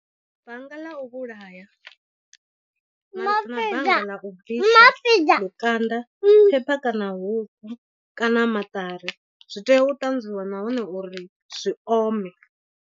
Banga ḽa u vhulaya na banga ḽa u bvisa lukanda paper kana huku kana maṱari, zwi tea u ṱanzwiwa nahone uri zwi ome.